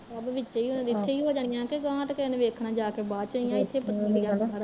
ਵਿਚੇ ਤੇ ਇੱਥੇ ਈ ਹੋ ਜਾਣੀਆ ਗਹਾ ਤੇ ਕਿਸੇ ਨੇ ਦੇਖਣਾ ਜਾ ਕੇ ਬਾਦ ਚ ਇੱਥੇ ਈ ਪਤਾ ਲੱਗ ਜਣਾ ਸਾਰਾ ਈ